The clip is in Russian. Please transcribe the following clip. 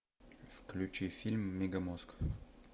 включи фильм мегамозг